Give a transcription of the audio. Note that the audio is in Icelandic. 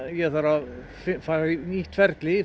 ég þarf að fara í nýtt ferli